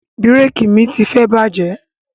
Bíréékì mi tifẹ bàjẹ́